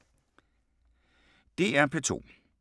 DR P2